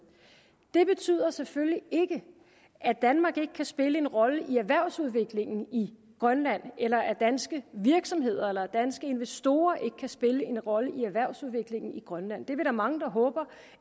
det betyder selvfølgelig ikke at danmark ikke kan spille en rolle i erhvervsudviklingen i grønland eller at danske virksomheder eller danske investorer ikke kan spille en rolle i erhvervsudviklingen i grønland det er vi da mange der håber